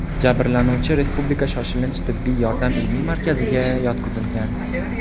Jabrlanuvchi Respublika shoshilinch tibbiy yordam ilmiy markaziga yotqizilgan.